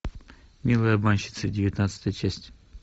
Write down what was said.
милые обманщицы девятнадцатая часть